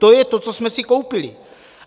To je to, co jsme si koupili.